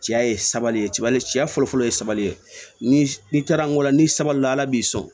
Cɛya ye sabali ye cɛya fɔlɔ fɔlɔ ye sabali ye ni n'i taara n ko la ni sabali ala b'i sɔn